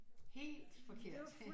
Helt forkert